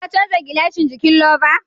Ka canza gilashin jikin louver?